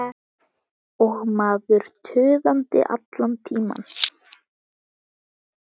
Og maður tuðandi allan tímann.